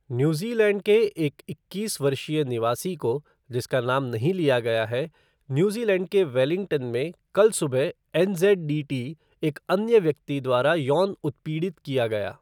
New Zealand के एक इक्कीस वर्षीय निवासी को, जिसका नाम नहीं लिया गया है, न्यूज़ीलैंड के वेलिंगटन में कल सुबह, एनज़ेडडीटी एक अन्य व्यक्ति द्वारा यौन उत्पीड़ित किया गया।